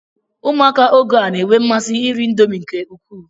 Ụmụaka oge a na-enwe mmasi iri Indomi nke ukwuu